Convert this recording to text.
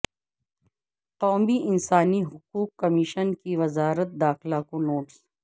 قومی انسانی حقوق کمیشن کی وزارت داخلہ کو نوٹس